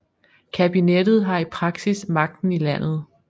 Kabinettet har i praksis magten i landet